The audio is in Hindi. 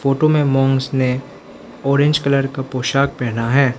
फोटो में मॉन्कस ने ऑरेंज कलर का पोशाक पहना है।